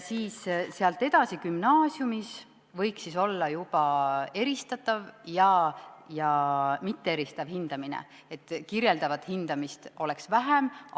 Sealt edasi, gümnaasiumis, võiks olla eristav ja mitteeristav hindamine, kirjeldavat hindamist oleks vähem.